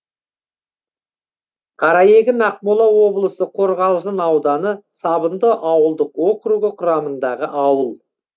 қараегін ақмола облысы қорғалжын ауданы сабынды ауылдық округі құрамындағы ауыл